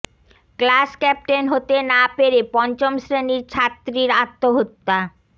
class captain হতে না পেরে পঞ্চম শ্রেণীর ছাত্রীর আত্মহত্যা